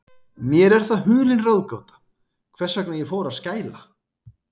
Mér er það hulin ráðgáta, hvers vegna ég fór að skæla.